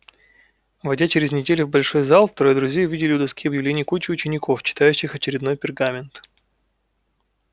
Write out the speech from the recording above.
войдя через неделю в большой зал трое друзей увидели у доски объявлений кучу учеников читающих очередной пергамент